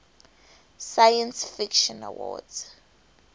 science fiction awards